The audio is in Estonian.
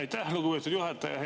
Aitäh, lugupeetud juhataja!